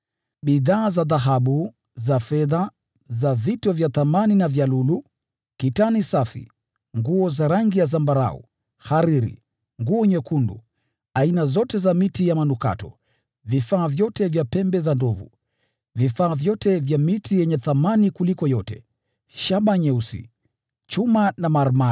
Bidhaa za dhahabu, za fedha, za vito vya thamani na vya lulu, kitani safi, nguo za rangi ya zambarau, hariri, nguo nyekundu, aina zote za miti ya udi, na vifaa vyote vya pembe za ndovu, vifaa vyote vya miti yenye thamani kuliko yote, shaba, chuma na marmar,